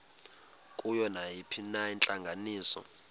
kuyo nayiphina intlanganiso